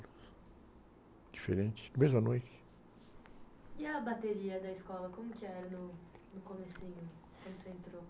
diferentes, na mesma noite. a bateria da escola, como era no, no comecinho, quando você entrou?